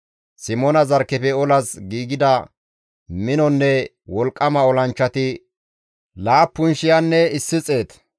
Simoona zarkkefe olas giigida minonne wolqqama olanchchati laappun shiyanne issi xeet.